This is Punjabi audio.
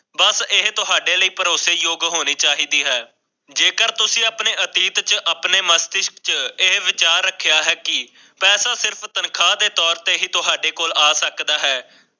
ਬਸ ਇਹ ਤੁਹਾਡੇ ਲਈ ਭਰੋਸੇਯੋਗ ਹੋਣੀ ਚਾਹੀਦੀ ਹੈ ਜੋਕਰ ਤੁਸੀਂ ਆਪਣੇ ਅਤੀਤ ਅਤੇ ਆਪਣੇ ਮਸਤਿਸ਼ਕ ਵਿਚ ਇਹ ਵਿਚਾਰ ਰੱਖਿਆ ਹੈ ਕੀ ਪੈਸਾ ਸਿਰਫ਼ ਤਨਖਾਹ ਦੀ ਤੋਰ ਤੇ ਤੁਹਾਡੇ ਕੋਲ ਆ ਸਕਦਾ ਹੈ